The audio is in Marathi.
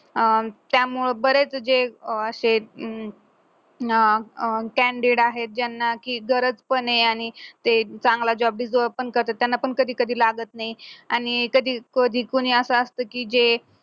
अं त्यामुळे बरंच जे असे अं standard आहेत ज्यांना की दरजपणे आणि ते चांगला job deserve पण करतात त्यांना पण कधी कधी लागत नाही आणि कधी कधी कोणी असं असतं की जे